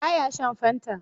Ba ya shan Fanta.